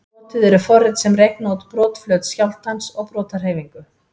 Notuð eru forrit sem reikna út brotflöt skjálftans og brotahreyfingu.